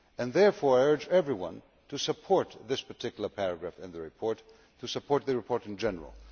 Therefore, I urge everyone to support this particular paragraph in the report and to support the report in general.